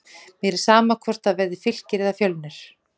Mér er sama hvort það verði Fylkir eða Fjölnir.